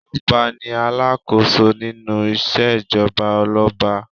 Ọba ní alákòóso nínú ìṣèjọba olọ́ba.